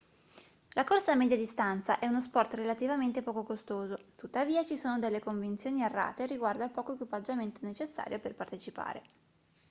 la corsa a media distanza è uno sport relativamente poco costoso tuttavia ci sono delle convinzioni errate riguardo al poco equipaggiamento necessario per partecipare